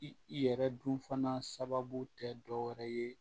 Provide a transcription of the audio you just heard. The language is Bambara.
I yɛrɛ dun fana sababu tɛ dɔ wɛrɛ ye